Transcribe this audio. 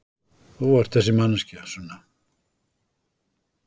Þú ert þessi manneskja, Sunna.